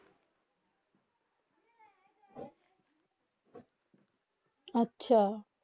আচ্ছা